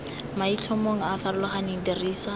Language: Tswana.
maitlhomong a a farologaneng dirisa